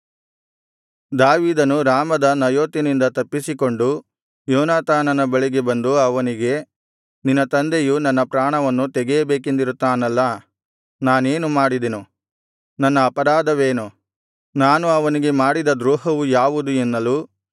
ದಾವೀದನು ರಾಮದ ನಯೋತಿನಿಂದ ತಪ್ಪಿಸಿಕೊಂಡು ಯೋನಾತಾನನ ಬಳಿಗೆ ಬಂದು ಅವನಿಗೆ ನಿನ್ನ ತಂದೆಯು ನನ್ನ ಪ್ರಾಣವನ್ನು ತೆಗೆಯಬೇಕೆಂದಿರುತ್ತಾನಲ್ಲ ನಾನೇನು ಮಾಡಿದೆನು ನನ್ನ ಅಪರಾಧವೇನು ನಾನು ಅವನಿಗೆ ಮಾಡಿದ ದ್ರೋಹವು ಯಾವುದು ಎನ್ನಲು